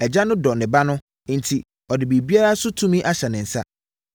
Agya no dɔ ne Ba no enti ɔde biribiara so tumi ahyɛ ne nsa.